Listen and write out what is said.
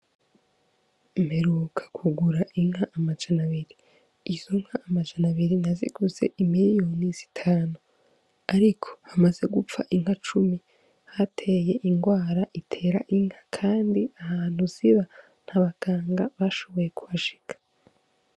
Mperuka ku gura inka amajana abiri izo nka amajana abiri naziguze imiriyoni z'itanu ariko hamaze gupfa inka cumi hateye ingwara itera inka kandi ahantu ziba nta baganga bashoboye kuhashika.